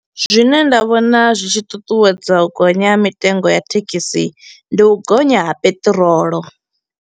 Zwine nda vhona zwi tshi ṱuṱuwedza u gonya ha mitengo ya thekhisi ndi u gonya ha peṱirolo.